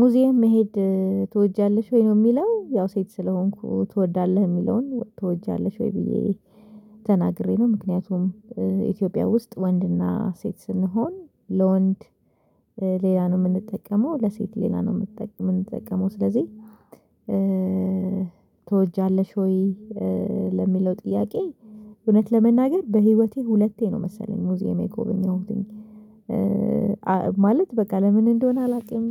ሙዚየም መሄድ ትወጃለሽ ወይ ነው የሚለው ያው ሴት ስለሆንኩ ትወዳለህ የሚለውን ትወጃለሽ ወይ ብዬ ተናግሬ ነው ምክንያቱም ኢትዮጵያ ውስጥ ወንድና ሴት ስንሆን ለወንድ ሌላ ነው የምንጠቀመው ለሴት ሌላ ነው የምንጠቀመው ስለዚህ ትወጃለሽ ወይ ለሚለው ጥያቄ እውነት ለመናገር በህይወቴ ሁለቴ ነው መሰለኝ ሙዚየም የጎበኘሁ ማለት በቃ ለምን እንደሆነ አላውቅም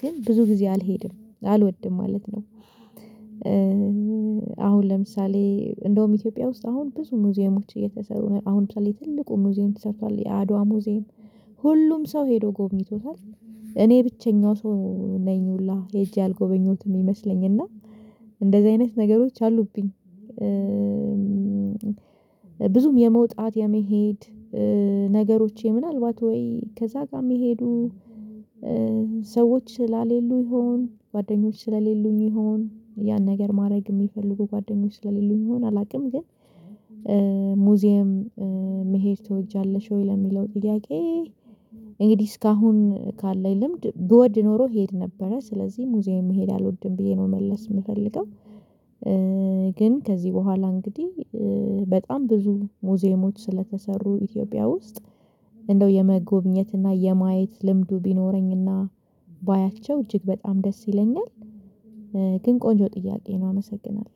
ግን ብዙ ጊዜ አልሄድም አልወድም ማለት ነው አሁን ለምሳሌ እንደውም ኢትዮጵያ ውስጥ አሁን ብዙ ሙዚየሞች እየተሰሩ ነው አሁን ለምሳሌ ትልቁ ሙዚየም ተሰርቷል የአድዋ ሙዚየም ሁሉም ሰው ሄዶ ጎብኝቶታል እኔ ብቸኛው ሰው ነኝ ሁላ ሄጄ አልጎበኘሁትም ይመስለኝና እንደዚህ አይነት ነገሮች አሉብኝ ብዙም የመውጣት የመሄድ ነገሮቼ ምናልባት ወይ ከዛ ጋር የሚሄዱ ሰዎች ስላሌሉ ይሁን ጓደኞች ስለሌሉኝ ይሁን ያን ነገር ማድረግ የሚፈልጉ ጓደኞች ስለሌሉኝ ይሁን አላውቅም ግን ሙዚየም መሄድ ትወጃለሽ ወይ ለሚለው ጥያቄ እንግዲህ እስካሁን ካለኝ ልምድ ብወድ ኖሮ እሄድ ነበረ ስለዚህ ሙዚየም መሄድ አልወድም ብዬ ነው መመለስ የምፈልገው ግን ከዚህ በኋላ እንግዲህ በጣም ብዙ ሙዚየሞች ስለተሰሩ ኢትዮጵያ ውስጥ እንደው የመጎብኘት እና የማየት ልምዱ ቢኖረኝ እና ባያቸው እጅግ በጣም ደስ ይለኛል ግን ቆንጆ ጥያቄ ነው አመሰግናለሁ።